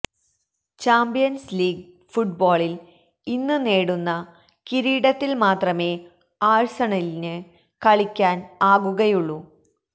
champions league ഫുട്ബോളില് ഇന്ന് നേടുന്ന കിരീടത്തിൽ മാത്രമേ ആഴ്സണലിന് കളിയ്ക്കാൻ ആകുകയുള്ളു